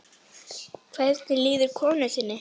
Hvernig líður konu þinni?